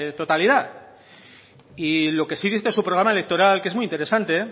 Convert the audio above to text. totalidad y lo que sí dice su programa electoral que es muy interesante